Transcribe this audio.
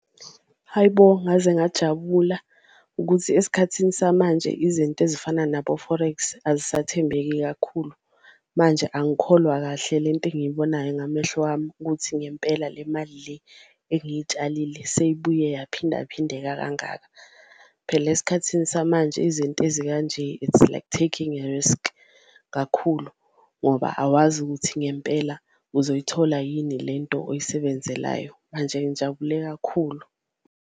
Hhayi bo, ngaze ngajabula ukuthi esikhathini samanje izinto ezifana nabo-Forex azisathembeki kakhulu manje angikholwa kahle lento engiyibonayo ngamehlo wami, ukuthi ngempela le mali le engiyitshalile seyibuye yaphindaphindeka kangaka. Phela esikhathini samanje izinto ezikanje its like taking a risk kakhulu ngoba awazi ukuthi ngempela uzoyithola yini lento oyisebenzelayo, manje ngijabule kakhulu.